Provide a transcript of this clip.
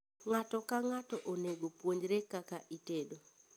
Ng'ato ka ng'ato onego opunjre kaka itedo